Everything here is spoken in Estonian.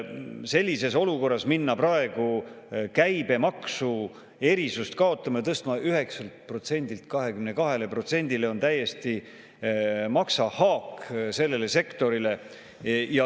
Sellises olukorras minna praegu käibemaksuerisust kaotama ja tõstma käibemaksu 9%-lt 22%-le on turismisektorile täielik maksahaak.